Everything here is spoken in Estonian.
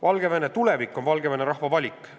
Valgevene tulevik on Valgevene rahva valik.